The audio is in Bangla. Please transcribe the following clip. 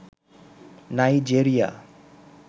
নাইজেরিয়া